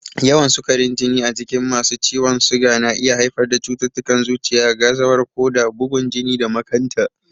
Yawan sukarin jini a jikin masu ciwon suga na iya haifar da cututtukan zuciya, gazawar koda, bugun jini da makanta.